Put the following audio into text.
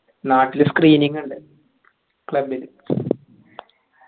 നാട്ടിൽ screening ണ്ട് club ൽ